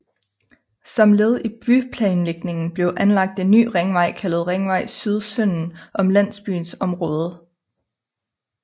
Som led i byplanlægningen blev anlagt en ny ringvej kaldet Ringvej Syd sønden om landsbyens område